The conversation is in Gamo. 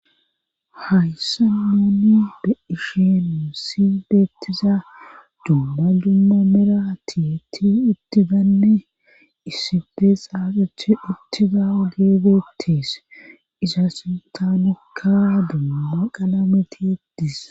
hayssa noonni be ishenu sibeettiza dumma dumma meratiti ittidanne isife saaqithi ittida ogee beetes isa sintaanukka dumma qala metietis